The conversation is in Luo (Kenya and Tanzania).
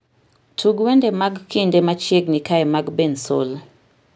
Tug wende mag kinde machiegni kae mag bensoul